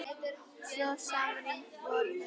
Svo samrýnd voru þau.